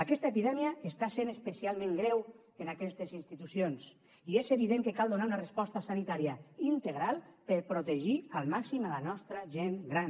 aquesta epidèmia està sent especialment greu en aquestes institucions i és evident que cal donar una resposta sanitària integral per a protegir al màxim la nostra gent gran